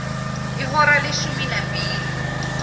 ihora leshumi nambili